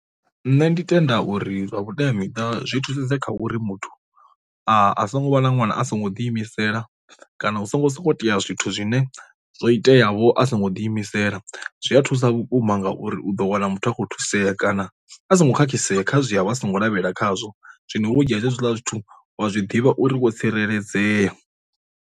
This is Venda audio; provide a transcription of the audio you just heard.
Nṋe ndi tenda uri vha vhuteamiṱa zwi thusedza kha uri muthu a a songo vha na ṅwana a songo ḓi imisela, kana hu songo songo tea zwithu zwine zwo itea vho a songo ḓi imisela, zwi a thusa vhukuma ngauri u ḓo wana muthu akho thusea kana a songo khakhisea kha zwi a vha a songo lavhelela khazwo. Zwino vho dzhia hezwiḽa zwithu wa zwi ḓivha uri wo tsireledzea.